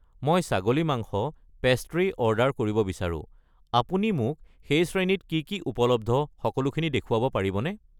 মই ছাগলী মাংস ,পেষ্ট্ৰি অৰ্ডাৰ কৰিব বিচাৰো, আপুনি মোক সেই শ্ৰেণীত কি কি উপলব্ধ সকলোখিনি দেখুৱাব পাৰিবনে?